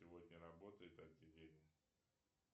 сегодня работает отделение